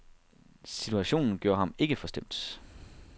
Situationen gjorde ham ikke forstemt.